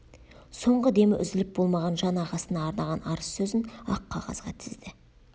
соңғы демі үзіліп болмаған жан ағасына арнаған арыз сөзін ақ қағазға тізді